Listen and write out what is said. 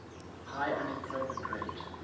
high unemployment rate